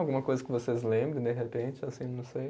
Alguma coisa que vocês lembrem, de repente, assim, não sei